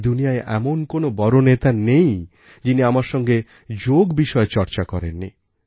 এই দুনিয়ায়এমন কোন বড় নেতা নেই যিনি আমার সঙ্গে যোগ বিষয়ে চর্চা করেননি